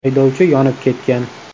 Haydovchi yonib ketgan.